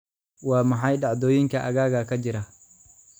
Waa maxay dhacdooyinka aaggayga ka jira?